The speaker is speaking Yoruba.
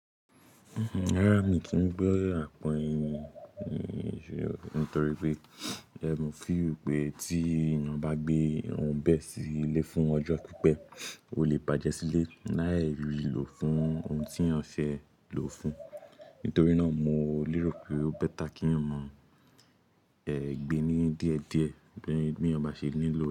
Rárá, mi kin gbé àpọ̀ ẹyin, nítorí pé mo fi pé tí ìna bá gbé ohun bẹ́ẹ̀ sí ilé fún ọjọ́ pípẹ́, ó lè bàjẹ́ sílé. Láì lọ fún ohun tí èèyàn fẹ́ lò ó fún un. Nítorí náà mo lérò pé ó better kí èèyàn mọ ẹ gbe ni díẹ̀díẹ̀ bí ìna bá ṣe nílò.